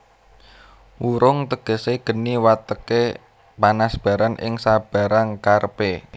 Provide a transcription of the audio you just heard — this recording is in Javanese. Wurung tegesé geni wateké panasbaran ing sabarang karepé